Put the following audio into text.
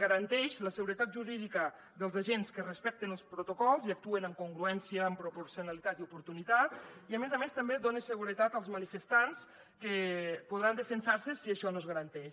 garanteix la seguretat jurídica dels agents que respecten els protocols i actuen en congruència amb proporcionalitat i oportunitat i a més a més també dona seguretat als manifestants que podran defensar se si això no es garanteix